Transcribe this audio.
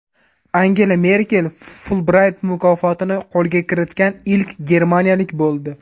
Angela Merkel Fulbrayt mukofotini qo‘lga kiritgan ilk germaniyalik bo‘ldi.